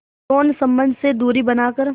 यौन संबंध से दूरी बनाकर